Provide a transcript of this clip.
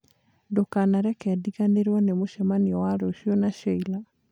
Ndũkanareke ndiriganĩrwo nĩ mũcemanio wa rũciũ na Sheila